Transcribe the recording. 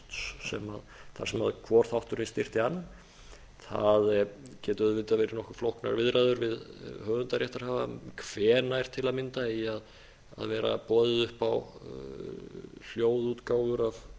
þessa safnkosts þar sem hvor þátturinn styrkti annan það geta auðvitað verið nokkuð flóknar viðræður við höfundaréttarhafa hvenær til að mynda eigi að vera boðið upp á hljóðútgáfur af